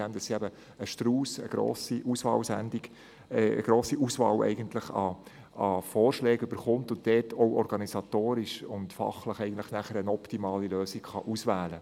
Denn sie erhält eine grosse Auswahl von Vorschlägen und kann organisatorisch und fachlich eine optimale Lösung auswählen.